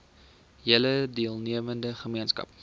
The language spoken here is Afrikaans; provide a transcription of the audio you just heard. hele deelnemende gemeenskap